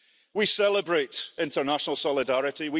We celebrate international solidarity.